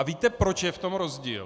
A víte, proč je v tom rozdíl?